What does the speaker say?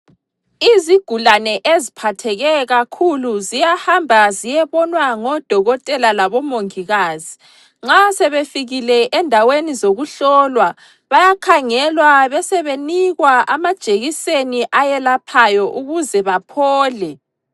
Izigulane eziphatheke kakhulu ziyahamba ziyebonwa ngodokotela labomongikazi. Nxa sebefikile endaweni zokuhlolwa bayakhangelwa besebenikwa amajekiseni ayelaphayo ukuze baphole.